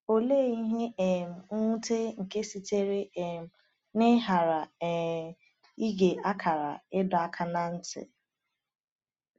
Olee ihe um nwute nke sitere um n’ịghara um ige akara ịdọ aka ná ntị!